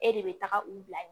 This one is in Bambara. E de bɛ taga u bila ye